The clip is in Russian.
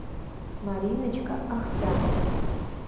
мариночка ахтямова